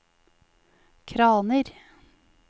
kraner